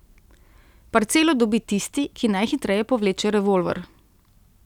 Parcelo dobi tisti, ki najhitreje povleče revolver...